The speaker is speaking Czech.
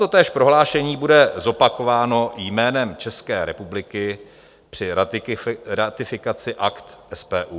Totéž prohlášení bude zopakováno jménem České republiky při ratifikaci Akt SPU.